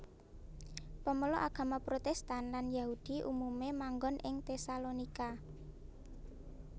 Pemeluk agama Protestan lan Yahudi umumé manggon ing Tesalonika